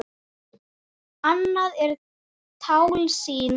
Annað er tálsýn.